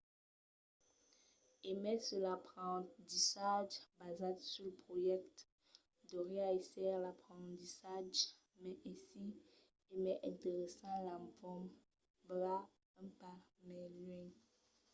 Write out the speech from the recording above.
e mai se l’aprendissatge basat sul projècte deuriá èsser l’aprendissatge mai aisit e mai interessant l’empont va un pas mai luènh